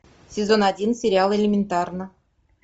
сезон один сериал элементарно